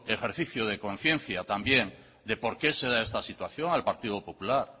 ejercicio de conciencia también de por qué se da esta situación al partido popular